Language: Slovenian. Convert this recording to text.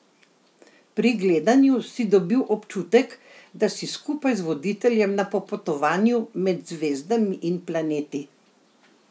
Pri gledanju si dobil občutek, da si skupaj z voditeljem na popotovanju med zvezdami in planeti.